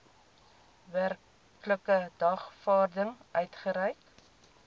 werklike dagvaarding uitgereik